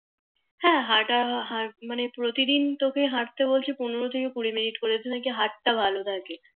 হ্যাঁ হাটা মানে প্রতিদিন তোকে হাটতে বলছি পনেরো থেকে কুড়ি মিনিট কেনো কি Hurt টা ভালো থাকে